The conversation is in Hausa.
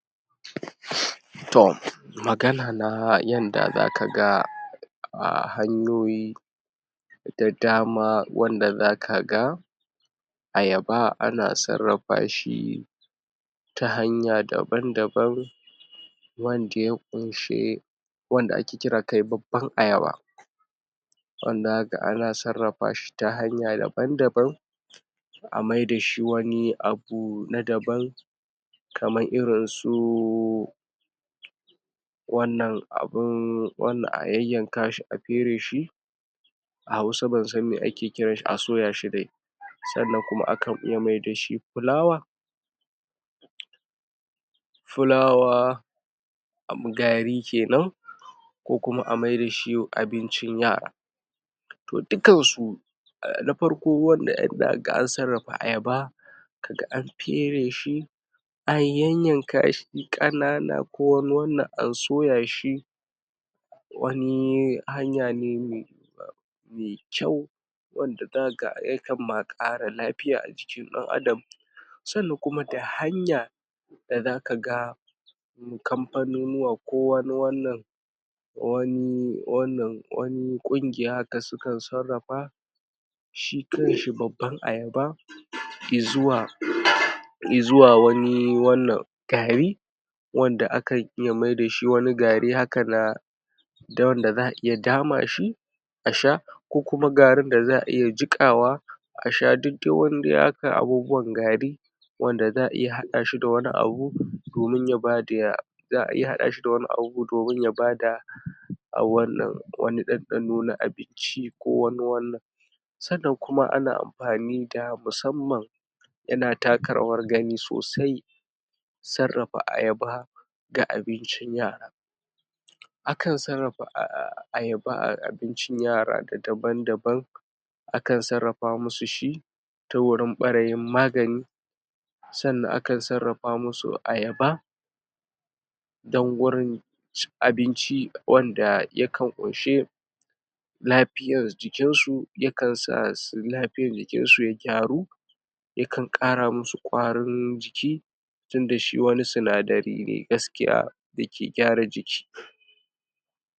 To magana na yanda zaka ga hanyoyi da dama wanda zaka ga ayaba ana sarrafa shi ta hanya daban daban wanda ya kunshi, wanda ake kira kai babban ayaba wanda zaka ga ana sarrafa shi ta hanaya daba-daban a maida su wani abu na daban kamar irin su wannan abin wani a yayyanka a feraye shi, a hausa ban same ake kiranshi- a soya shi dai sannan kuma akan iya maida shi fulawa, fulawa gari kenan ko kuma a maida shi abincin yara to dukkansu na farko wanda zaka ga an sarrafa ayaba, kaga an feraye shi, an yayyanka shi kanana ko wani wannan an soya shi wani hanya ne mai kyau wanda zaka ga ya kan ma kara lafiya a jikin dan adam, sannan kuma da hanya da zaka ga kamfaninnuwa ko wani wannan. Wani wannan wani kungiya da suka sarrafa shi kanshi babban ayaba izuwa-izuwa wani wannan gari wanda akan iya maida shi wani gari haka na da wanda za'a iya dama shi a sha ko kuma garin da za'a iya jikawa a sha duk dai dai wani haka abubuwan gari wanda za'a iya hada shi da wani abu domin ya bada dandano na abinci ko wani wannan sannan kuma ana amfani da musamman yana taka rawar gani sosai sarrafa ayaba ga abincin yara, akan sarrafa ayaba a abincin yara daban daban akan sarrafa musu shi ta wurin barayin magani sannan akan sarrafa musu ayaba don gurin cin abinci wanda ya kan kunshi lafiyar jikinsu ya kan sa su lafiyar jikinsu ya karu ya kan kara musu kwarin jiki tunda shi wani sinadari ne gaskiya dake gyara jiki.